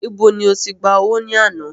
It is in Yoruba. Ibo ni oti gbà owó ní àná?